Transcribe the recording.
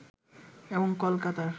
এবং কলকাতার